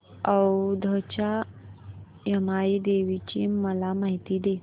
औंधच्या यमाई देवीची मला माहिती दे